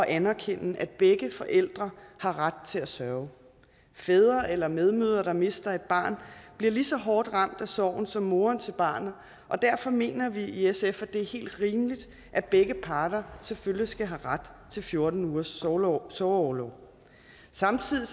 anerkende at begge forældre har ret til at sørge fædre eller medmødre der mister et barn bliver lige så hårdt ramt af sorg som moren til barnet og derfor mener vi i sf at det er helt rimeligt at begge parter selvfølgelig skal have ret til fjorten ugers sorgorlov sorgorlov samtidig